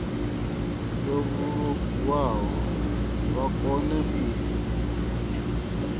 yo vhulungwaho vha kone u